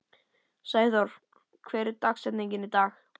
Sæþór, hver er dagsetningin í dag?